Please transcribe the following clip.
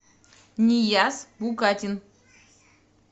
нияз букатин